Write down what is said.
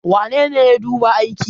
wanene ya duba aiki?